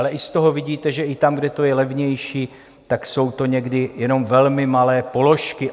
Ale i z toho vidíte, že i tam, kde to je levnější, tak jsou to někdy jenom velmi malé položky.